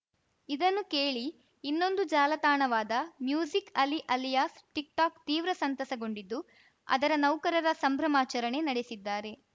ಇದನ್ನು ಕೇಳಿ ಇನ್ನೊಂದು ಜಾಲತಾಣವಾದ ಮ್ಯೂಸಿಕ್‌ ಅಲಿ ಅಲಿಯಾಸ್‌ ಟಿಕ್‌ಟಾಕ್‌ ತೀವ್ರ ಸಂತಸಗೊಂಡಿದ್ದು ಅದರ ನೌಕರರ ಸಂಭ್ರಮಾಚರಣೆ ನಡೆಸಿದ್ದಾರೆ